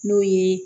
N'o ye